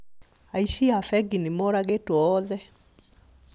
Aici a bengi nĩmoragĩtwo othe